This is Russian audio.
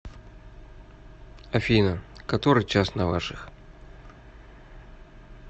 афина который час на ваших